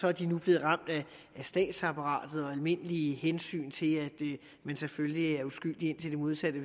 er de nu blevet ramt af statsapparatet og almindelige hensyn til at man selvfølgelig er uskyldig indtil det modsatte